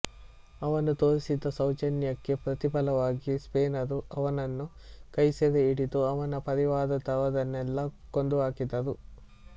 ಅವನು ತೋರಿಸಿದ ಸೌಜನ್ಯಕ್ಕೆ ಪ್ರತಿಫಲವಾಗಿ ಸ್ಪೇನರು ಅವನನ್ನು ಕೈಸೆರೆ ಹಿಡಿದು ಅವನ ಪರಿವಾರದವರನ್ನೆಲ್ಲ ಕೊಂದುಹಾಕಿದರು